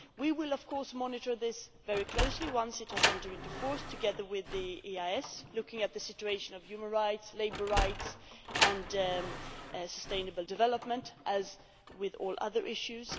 We will, of course, monitor this very closely once it has entered into force, together with the EEAS, looking at the situation of human rights, labour rights and sustainable development, as with all other issues.